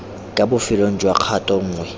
kwa bofelong jwa kgato nngwe